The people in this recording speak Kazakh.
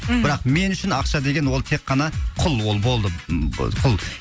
мхм бірақ мен үшін ақша деген ол тек қана құл ол болды б құл